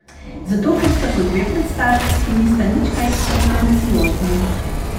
Zato ker sta to dve predstavi, ki nista nič kaj pretenciozni.